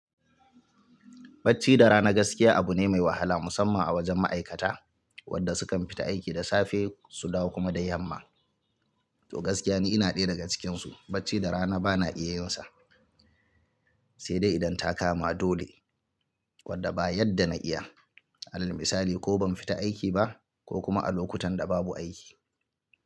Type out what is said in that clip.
Bacci da rana gaskiya abu ne mai wahala musamman a wajen ma'aikata wadda sukan fita aiki da safe su dawo kuma da yamma. To gaskiya ni ina ɗaya daga cikinsu, bacci da rana bana iya yinsa. Sai dai idan ta kama dole wadda ba yadda na iya. Alal misali ko ban fita aiki ba ko kuma a lokutan da babu aiki.